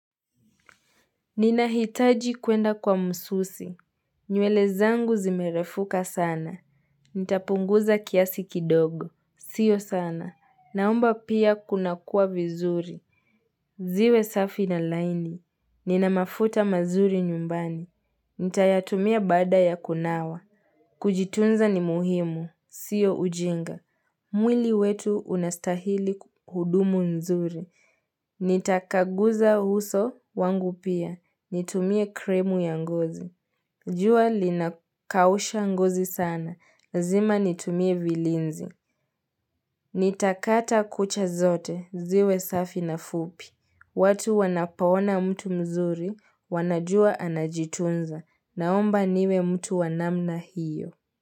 Ninahitaji kwenda kwa msusi. Nywele zangu zimerefuka sana. Nitapunguza kiasi kidogo. Sio sana. Naomba pia kunakuwa vizuri. Ziwe safi na laini. Ninamafuta mazuri nyumbani. Nitayatumia baada ya kunawa. Kujitunza ni muhimu. Sio ujinga. Mwili wetu unastahili kuhudumu nzuri. Nitakaguza huso wangu pia. Nitumie kremu ya ngozi. Jua linakausha ngozi sana. Lazima nitumie vilinzi. Nitakata kucha zote. Ziwe safi na fupi. Watu wanapoona mtu mzuri. Wanajua anajitunza. Naomba niwe mtu wanamna hiyo.